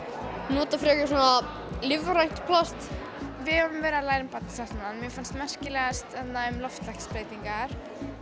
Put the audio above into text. nota frekar svona lífrænt plast við höfum verið að læra um Barnasáttmálann mér fannst merkilegast þarna um loftslagsbreytingar